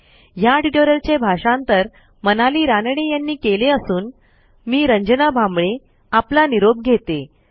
ह्या ट्युटोरियलचे भाषांतर मनाली रानडे यांनी केले असून मी रंजना भांबळे आपला निरोप घेते160